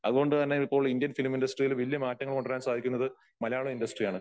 അതുകൊണ്ടുതന്നെ ഇപ്പോൾ Indian film ഇൻഡസ്ടറിയിൽ വലിയ മാറ്റങ്ങൾ കൊണ്ടുവരാൻ സാധിക്കുന്നത് മലയാളം ഇൻഡസ്ടറി ആണ്.